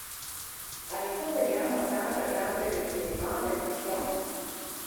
Ali to velja morda za glasbene festivale nasploh?